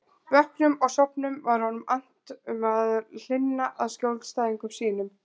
Vöknum og sofnum var honum annt um að hlynna að skjólstæðingum sínum.